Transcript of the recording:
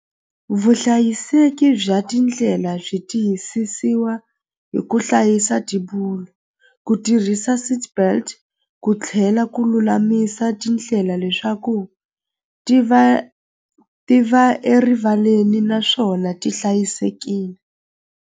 Vuhlayiseki bya tindlela byi tiyisisiwa hi ku hlayisa ku tirhisa seatbelt ku tlhela ku lulamisa tindlela leswaku ti va ti va erivaleni naswona ti .